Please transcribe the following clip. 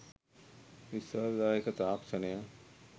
විශ්වාසදායක තාක්ෂණය